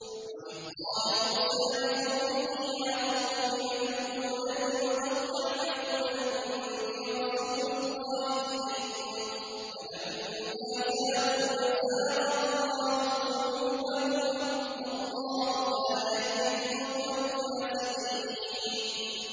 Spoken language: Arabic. وَإِذْ قَالَ مُوسَىٰ لِقَوْمِهِ يَا قَوْمِ لِمَ تُؤْذُونَنِي وَقَد تَّعْلَمُونَ أَنِّي رَسُولُ اللَّهِ إِلَيْكُمْ ۖ فَلَمَّا زَاغُوا أَزَاغَ اللَّهُ قُلُوبَهُمْ ۚ وَاللَّهُ لَا يَهْدِي الْقَوْمَ الْفَاسِقِينَ